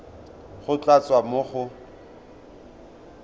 go tla tswa mo go